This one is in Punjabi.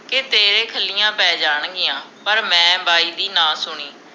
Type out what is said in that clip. ਕੇ ਤੇਰੇ ਖਲੀਆਂ ਪੈ ਜਾਣ ਗਿਆਂ ਪਰ ਮੈਂ ਬਾਈ ਦੀ ਨਾ ਸੁਣੀ